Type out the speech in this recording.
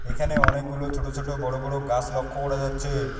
এখানে অনেকগুলো ছোট ছোট বড়ো বড়ো গাছ লক্ষ্য করা যাচ্ছে।